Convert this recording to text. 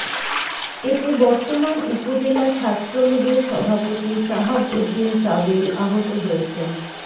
এতে বর্তমান উপজেলা ছাত্রলীগের সভাপতি সাহাব উদ্দিন সাবেল আহত হয়েছেন